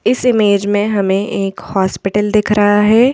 इस इमेज में हमें एक हॉस्पिटल दिख रहा है।